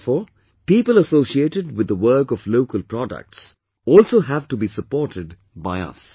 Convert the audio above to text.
Therefore, people associated with the work of local products also have to be supported by us